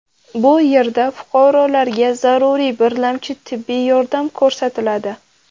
Bu yerda fuqarolarga zaruriy birlamchi tibbiy yordam ko‘rsatiladi.